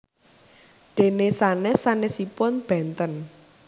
Dene sanes sanesipun benten